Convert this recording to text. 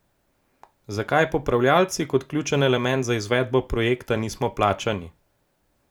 Zakaj popravljalci, kot ključen element za izvedbo projekta, nismo plačani?